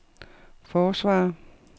forsvarer